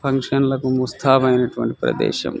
Function లకి ముస్తాబు అయినటు ప్రదేశం.